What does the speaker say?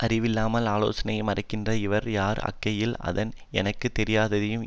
அறிவில்லாமல் ஆலோசனையை மறைக்கிற இவன் யார் ஆகையால் நான் எனக்கு தெரியாததையும்